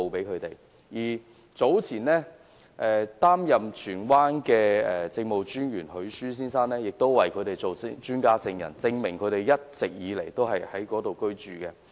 前荃灣理民府兼市鎮專員許舒先生，亦擔任專家證人，證明居民一直以來都是在該處居住。